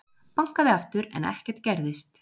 Bankaði aftur en ekkert gerðist.